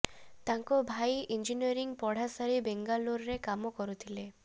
ତାଙ୍କ ଭାଇ ଇଞ୍ଜିନିୟରିଂ ପଢ଼ା ସାରି ବେଙ୍ଗାଲୁରୁରେ କାମ କରୁଥିଲେ